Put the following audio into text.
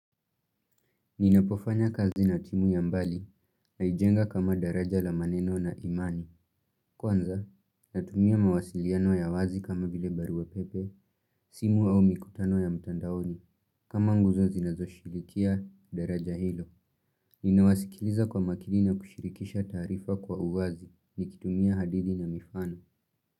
Ninapofanya kazi na timu ya mbali, naijenga kama daraja la maneno na imani. Kwanza, natumia mawasiliano ya wazi kama vile barua pepe, simu au mikutano ya mtandaoni, kama nguzo zinazoshirikia daraja hilo. Ninawasikiliza kwa makini na kushirikisha taarifa kwa uwazi, nikitumia hadithi na mifano.